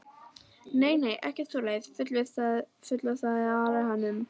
Nei, nei, ekkert svoleiðis fullvissaði Ari hann um.